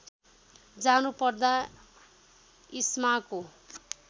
जानु पर्दा इस्माको